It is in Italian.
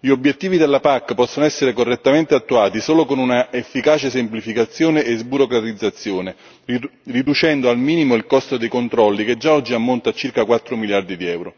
Gli obiettivi della PAC possono essere correttamente attuati solo con un'efficace semplificazione e sburocratizzazione, riducendo al minimo il costo dei controlli, che già oggi ammonta a circa 4 miliardi di euro.